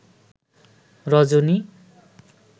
রজনী